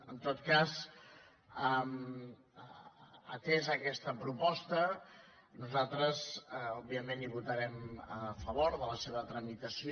en tot cas atesa aquesta proposta nosaltres òbviament votarem a favor de la seva tramitació